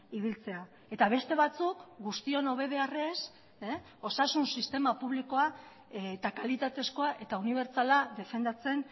ibiltzea eta beste batzuk guztion hobe beharrez osasun sistema publikoa eta kalitatezkoa eta unibertsala defendatzen